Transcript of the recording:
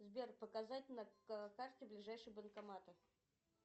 сбер показать на карте ближайшие банкоматы